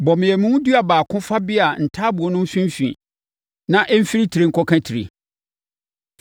Bɔ mmeamu dua baako fa bea ntaaboo no mfimfini na ɛmfiri tire nkɔka tire.